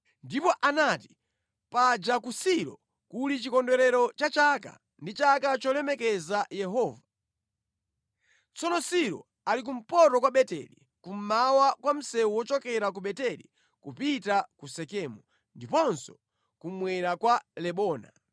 Ndipo anati, ‘Paja ku Silo kuli chikondwerero cha chaka ndi chaka cholemekeza Yehova. Tsono Silo ali kumpoto kwa Beteli, kummawa kwa msewu wochokera ku Beteli kupita ku Sekemu, ndiponso kummwera kwa Lebona.’ ”